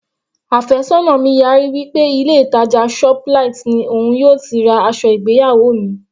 Àfẹ́sọ́nà mi yarí wí pé ilé ìtàjà shoplight ni òun yóò ti ra aṣọ ìgbéyàwó mi.